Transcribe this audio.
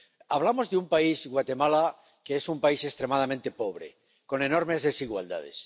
Hablamos de un país, Guatemala, que es un país extremadamente pobre y con enormes desigualdades